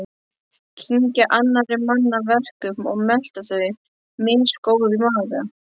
Kyngja annarra manna verkum og melta þau, misgóð í maga.